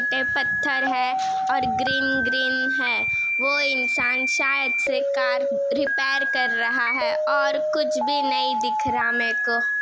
ये पत्थर है और ग्रीन ग्रीन है वो इंसान शायद से कार रिपेर कर रहा है और कुछ भी नहीं दिख रहा मेरे को।